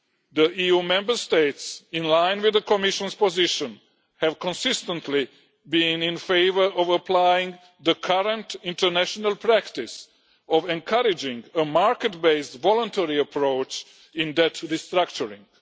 The EU Member States, in line with the Commission's position, have consistently been in favour of applying the current international practice of encouraging a market based voluntary approach in debt restructuring.